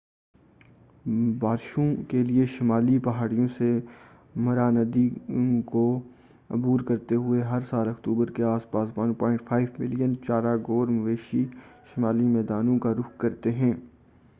بارشوں کیلئے شمالی پہاڑیوں سے مارا ندی کو عبور کرتے ہوئے ہر سال اکتوبر کے آس پاس تقریبا 1.5 ملین چارا خور مویشی شمالی میدانوں کا رخ کرتے ہیں